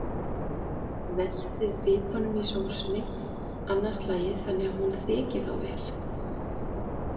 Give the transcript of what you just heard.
Veltið bitunum í sósunni annað slagið þannig að hún þeki þá vel.